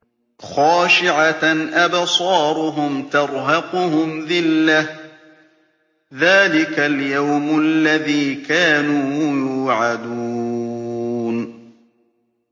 خَاشِعَةً أَبْصَارُهُمْ تَرْهَقُهُمْ ذِلَّةٌ ۚ ذَٰلِكَ الْيَوْمُ الَّذِي كَانُوا يُوعَدُونَ